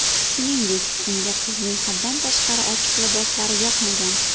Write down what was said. Shuningdek, unga qizning haddan tashqari ochiq liboslari yoqmagan.